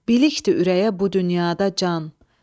Bilikdir ürəyə bu dünyada can.